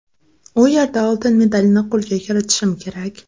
U yerda oltin medalni qo‘lga kiritishim kerak.